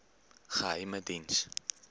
geheimediens